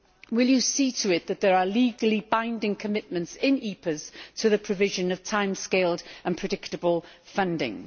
Will you see to it that there are legally binding commitments in EPAs to the provision of time scaled and predictable funding?